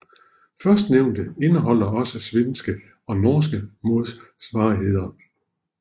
Førstnævnte indeholder også svenske og norske modsvarigheder